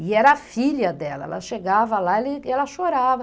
E era a filha dela, ela chegava lá e ela e ela chorava.